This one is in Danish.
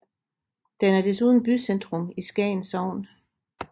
Den er desuden bycentrum i Skagen Sogn